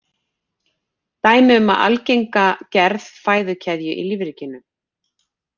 Dæmi um algenga gerð fæðukeðju í lífríkinu.